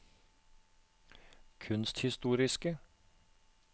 kunsthistoriske